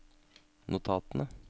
notatene